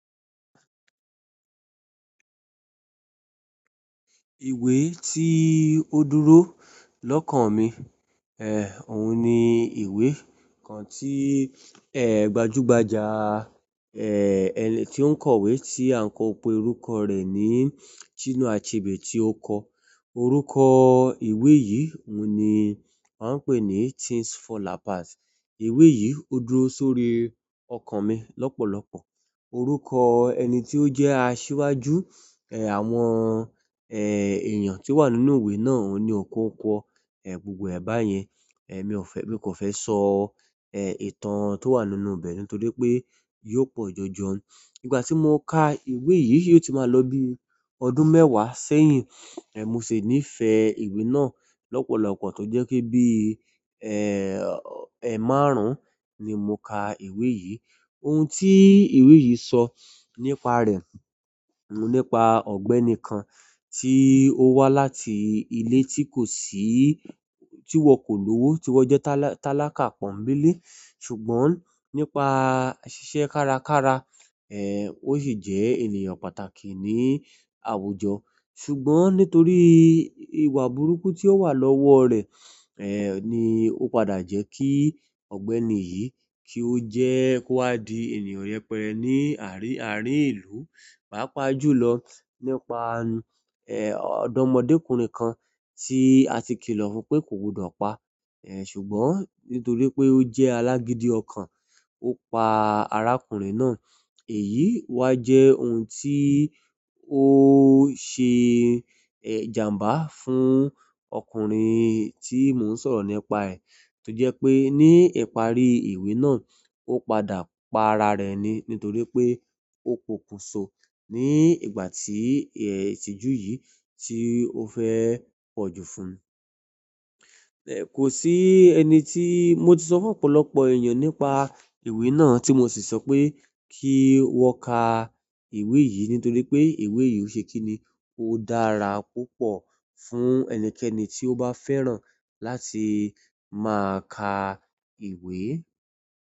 Ìwé tí ó dúró lọ́kàn mi, òun ni ìwé kan tí, gbajúgbajà, ẹni tí ó n kọ̀wé tí à ń pe orúkọ rẹ̀ ni Chinua Achebe tí ó kọ. Orúkọ ìwé yìí òun ni wọ́n ń pè ní Things Fall Apart. Ìwé yìí ó dúró sórí ọkàn mi lọ́pọ̀lọpọ̀. Orúkọ ẹni tí ó jẹ́ asíwájú, àwọn, èèyàn tí ó wà nínú ìwé náà òun ni Okonkwo. Gbogbo ẹ̀ báyẹn, mi ò fẹ́, mo kan fẹ́ sọ, ìtàn tó wà nínú ibẹ̀ náà nítorí pé yóò pọ̀ jọjọ. Nígbà tí mo ka ìwé yìí, yìó ti máa lọ bí ọdún mẹ́wàá sẹ́yìn. Mo sì nífẹ̀ẹ́ ìwé náà lọ́pọ̀lọpọ̀ tó jẹ́ kí bí, ẹ́márùn ni mo ka ìwé yìí. Ohun tí ìwé yìí sọ nípa rẹ̀, ni nípa ọ̀gbẹ́ni kan tí ó wá láti ilé tí kò sí, tí wọn kò lówó, tí wọ́n jẹ́ tálákà pọ́nńbélé. Ṣùgbọ́n nípa ṣíṣe kárakára, ó sì jẹ́ ènìyàn pàtàkì ní àwùjọ. Ṣùgbọ́n nítorí ìwà burúkú tí ó wà lọ́wọ́ rẹ̀, ni ó padà jẹ́ kí ọ̀gbẹ́ni yìí kí ó jẹ́ kó wá di ènìyàn yẹpẹrẹ ní àárín ìlú. Paapajulo nípa odo mode kunrin kan ti àti kilo fún pe ko gbodo pa ṣùgbọ́n nítorí pé ó jẹ́ alágídí ọkàn, ó pa arákùnrin náà. Èyí wa jẹ́ ohun tí ó ṣe, ìjàǹbá fún ọkùnrin tí mò ń sọ̀rọ̀ nípa ẹ. Toje pe ni ìparí ìwé náà, o padà pa ara re ni torí pe opokunso nigbati itiju yi ti o fe poju fún kò sí ẹni tí mo ti sọ fún ọ̀pọ̀lọpọ̀ èèyàn nípa ìwé náà tí mo sì sọ pé kí wọ́n ka ìwé yìí nítorí pé ìwé yìí ò ṣe kíni. Ó dára púpọ̀ fún ẹnikẹ́ni tí ó bá fẹ́ràn láti máa ka ìwé.